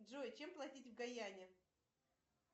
джой чем платить в гаяне